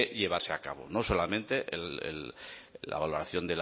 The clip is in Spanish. llevarse a cabo no solamente la valoración